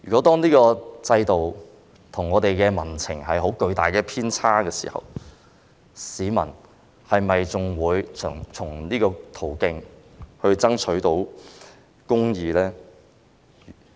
當這個制度跟民情出現巨大偏差時，市民是否仍然能夠循這個途徑爭取公義呢？